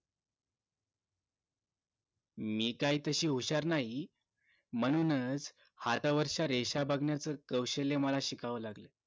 मी काय तशी हुशार नाही म्हणूनच हातावरच्या रेषा बघण्याचं कौशल्य मला शिकावं लागलं